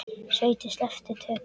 Sveitin sleppti tökum.